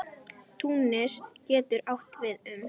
Túnis getur átt við um